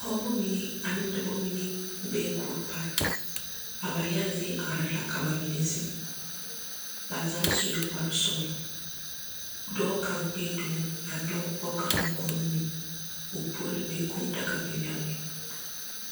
Pͻgebͻ mine ane dͻbͻ mine bee kuori pare. A ba yage zie arԑԑ la ka ba mine zeŋ. Ba zaa sue kpare-sͻgelͻ. Dͻͻ kaŋa gbieŋ domo a nyͻge pͻge kaŋa naŋ kono nu, o puori be kũũ daga biŋ la a be.